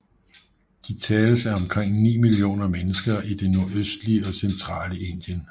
De tales af omkring 9 millioner mennesker i det nordøstlige og centrale Indien